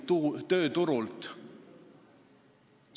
See on lahendus!